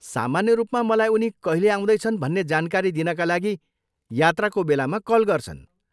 सामान्य रूपमा मलाई उनी कहिले आउँदैछन् भन्ने जानकारी दिनका लागि यात्राको बेलामा कल गर्छन्।